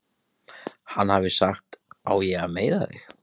Hann hafi sagt: Á ég að meiða þig?